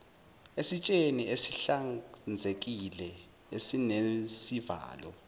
esitsheni esihlanzekile esinesivalo